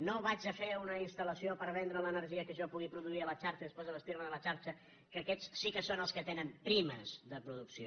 no faré una instal·lació per vendre l’energia que jo pugui produir a la xarxa i des·prés abastir·me de la xarxa que aquests sí que són els que tenen primes de producció